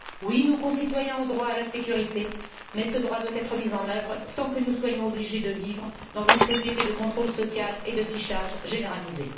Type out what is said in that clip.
Oui, nos concitoyens ont droit à la sécurité, mais ce doit être mis en œuvre sans que nous soyons obligés de vivre dans une société de contrôle social et de fichage généralisé.